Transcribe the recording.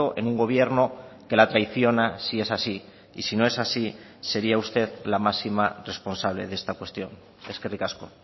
en un gobierno que la traiciona si es así y si no es así sería usted la máxima responsable de esta cuestión eskerrik asko